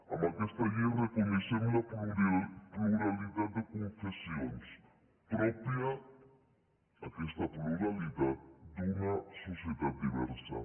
amb aquesta llei reconeixem la pluralitat de confessions pròpia aquesta pluralitat d’una societat diversa